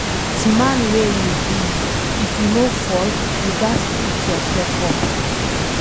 As man wey you be, if you fall, you ghas pick yourself up again